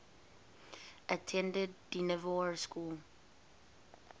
attended dynevor school